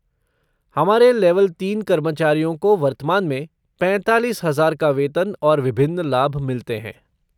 हमारे लेवल तीन कर्मचारियों को वर्तमान में पैंतालीस हजार का वेतन और विभिन्न लाभ मिलते हैं।